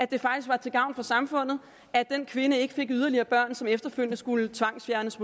det faktisk var til gavn for samfundet at den kvinde ikke fik yderligere børn som efterfølgende måske skulle tvangsfjernes